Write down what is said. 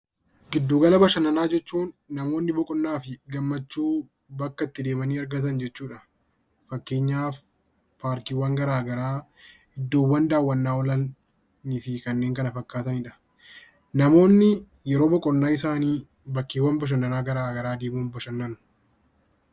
Giddu gala bashannanaa jechuun namoonni boqonnaafi gammachuu bakka itti deemanii argatan jechuudha . Fakkeenyaaf paarkiiwwan garagaraa iddoowwan daawwannaaf oolan fi kanneen kana fakkaataniidha. Namoonni yeroo boqonnaa isaanii bakkeewwaan bashannanaa garagaraa deemuun badhannuu